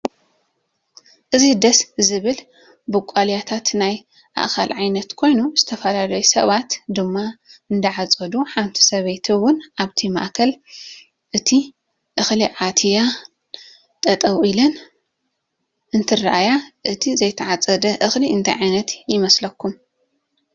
እዚ ድስ ዝብል ብቃልያታት ናይ እእካል ዓይነት ኮይኑ ዝተፈላላዩ ሰባት ድማ እዳ ኣፀዱ ሓንቲ ሰበይቲ እውን ኣብ ማእከል እቲ እክሊ ኣትየን ጠጠው ኢለን እንትራኣያ እቲ ዘይተዓፀደ እክሊ እ ንታይ ዓይነት ይመስለኩም?